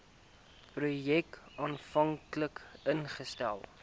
projek aanvanklik ingestel